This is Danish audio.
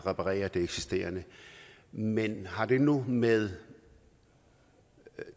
reparere det eksisterende men har det noget med